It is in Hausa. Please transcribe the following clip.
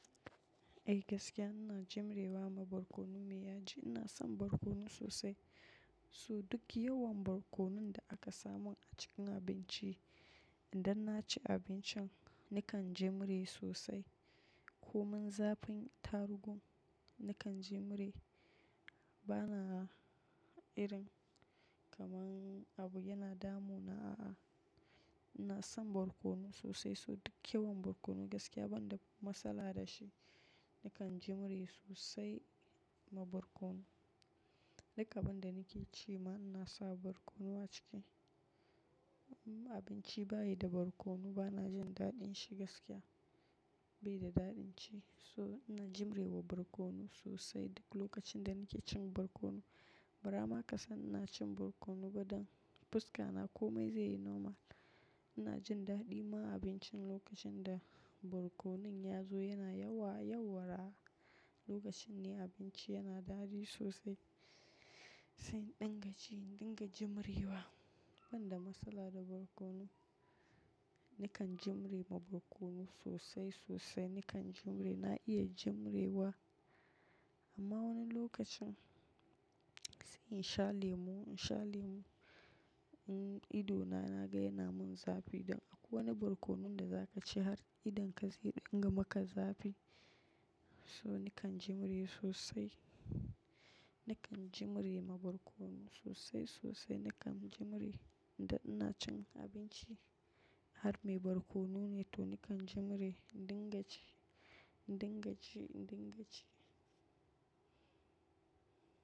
Eh gaskiya ina jimrewa ma barkono me ya ji ina son barkono sosai. So duk yawan barkonon da aka samu a cikin abinci idan na ci abincin nakan jimre sosai. Komin zafin tarugun nakan jimre bana irin kamar abu yana damu na a'a. Ina son barkono sosai so duk yawan barkono gaskiya banda matsala da shi nakan jimre sosai ma barkono. Duka banda ni ke ci ma ina sa barkono a ciki. Abinci bayi da barkono bana jin daɗin shi gaskiya bai da daɗin ci. So ina jimrewa barkono sosai duk lokacin da nike cin barkono. Bara ma kasan ina cin barkono baɗan fuska na komai zai yi normal. Ina jin daɗi ma abincin lokacin da barkonon ya zo yana yawa, yauwara lokacin ne abinci yana daɗi sosai. Sai dinga ci dinga jimrewa. Banda matsala da barkono nikan jimre ma barkono sosai sosai nikan jimre na iya jimrewa. Amma wani lokacin sai in sha lemu, in sha lemu ido na, na ga yana mun zafi. Dan akwai wani barkonon da za ka ci har idon ka zai dinga maka zafi. So nikan jimre sosai, nikan jimre ma barkono sosai sosai nikan jimre idan ina cin abinci har me barkono ne to nikan jimre dinga ci, dinga ci, dinga ci.